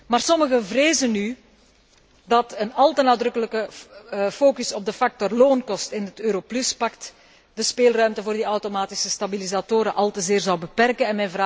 Maar sommigen vrezen nu dat een al te nadrukkelijke focus op de factor loonkosten in het Euro Plus pact de speelruimte voor die automatische stabilisatoren al te zeer zou beperken.